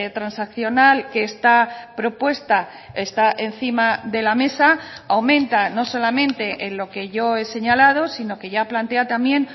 transaccional que está propuesta está encima de la mesa aumenta no solamente en lo que yo he señalado sino que ya plantea también